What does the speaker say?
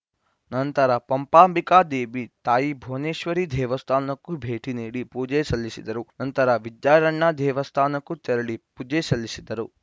ನಂತರ ಪಂಪಾಂಬಿಕಾ ದೇವಿ ತಾಯಿ ಭುವನೇಶ್ವರಿ ದೇವಸ್ಥಾನಕ್ಕೂ ಭೇಟಿ ನೀಡಿ ಪೂಜೆ ಸಲ್ಲಿಸಿದರು ನಂತರ ವಿದ್ಯಾರಣ್ಯ ದೇವಸ್ಥಾನಕ್ಕೂ ತೆರಳಿ ಪೂಜೆ ಸಲ್ಲಿಸಿದರು